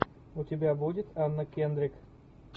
у тебя будет анна кендрик